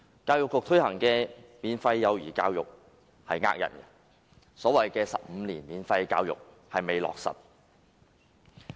教育局推行的免費幼兒教育欺騙市民，所謂15年免費教育並未落實。